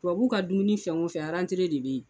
Tubabuw ka dumuni fɛn wo fɛn rantere de be yen.